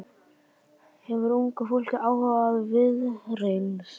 Hefur unga fólkið áhuga á Viðreisn?